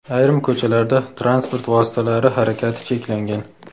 ayrim ko‘chalarda transport vositalari harakati cheklangan.